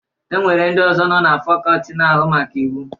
E nwere ndị ọzọ nọ na fakọọti na-ahụ maka Iwu.